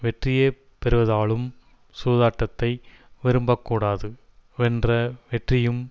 வெற்றியே பெறுவதாலும் சூதாட்டத்தை விரும்பக்கூடாது வென்ற வெற்றியும்